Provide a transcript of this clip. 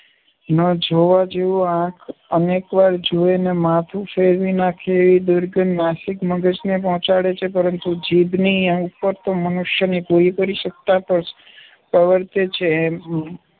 ન જોવા જેવું આંખ અનેક વાર જુએ ને માથું ફેરવી નાખે એવી દુર્ગંધ નાસિકા મગજને પહોંચાડે છે, પરંતુ જીભની ઉપર તો મનુષ્યની પૂરેપૂરી સત્તા પ્રવર્તે છે. એ